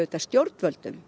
stjórnvöldum